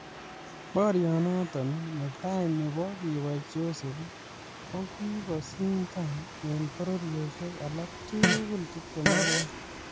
Borionoton ne tai nebo keboi Joseph, kigosindan en boriosiek alak tugul 22